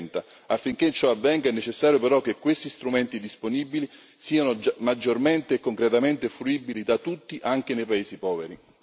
2030. Affinché ciò avvenga, è necessario però che questi strumenti disponibili siano maggiormente e concretamente fruibili da tutti, anche nei paesi poveri.